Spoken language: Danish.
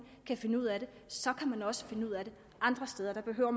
kan finde ud af det så kan man også finde ud af det andre steder der behøver